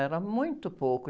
Era muito pouco.